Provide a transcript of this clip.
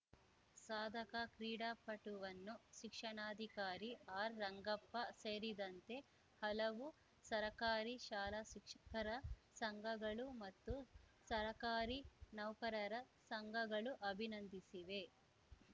ಸಾಧಕ ಕ್ರೀಡಾಪಟುವನ್ನು ಶಿಕ್ಷಣಾಕಾರಿ ಆರ್‌ ರಂಗಪ್ಪ ಸೇರಿದಂತೆ ಹಲವು ಸರಕಾರಿ ಶಾಲಾ ಶಿಕ್ಷಕರ ಸಂಘಗಳು ಮತ್ತು ಸರಕಾರಿ ನೌಕರರ ಸಂಘಗಳು ಅಭಿನಂದಿಸಿವೆ